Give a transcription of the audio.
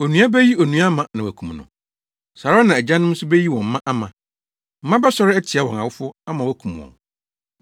“Onua beyi onua ama na wɔakum no. Saa ara na agyanom nso beyi wɔn mma ama. Mma bɛsɔre atia wɔn awofo ama wɔakum wɔn.